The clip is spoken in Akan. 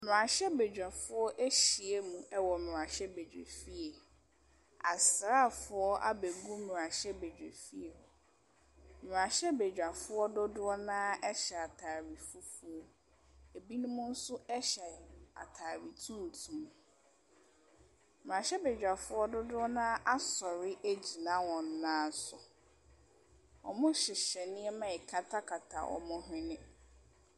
Mmrahyɛbedwa foɔ ahyia mu ɛwɔ mmrahyɛbedwa fie. Asraafo abe gu mmrahyɛbedwa fie hɔ. Mmrahyɛbedwa foɔ dodɔ na ɛhyɛ ataare fufuo. Ebinom so ɛhyɛ ataare tuntum. Mmrahyɛbedwa foɔ dodoɔ na asɔre agyina wɔn nan so. Ɔmo hyehyɛ nneɛma a ɛkata wɔmmo hwene.